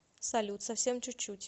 салют совсем чуть чуть